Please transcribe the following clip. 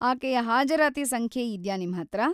ಆಕೆಯ ಹಾಜರಾತಿ ಸಂಖ್ಯೆ ಇದ್ಯಾ ನಿಮ್ಹತ್ರ?